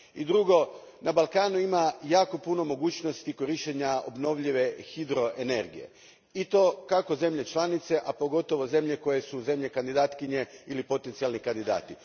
Drugo, na Balkanu ima jako puno mogućnosti korištenja obnovljive hidroenergije, i to kako zemlje članice, a pogotovo zemlje koje su zemlje kandidatkinje ili potencijalni kandidati.